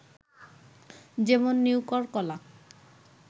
যেমন- নিউকর, কলা